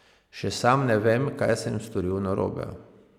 Še sam ne vem, kaj sem storil narobe.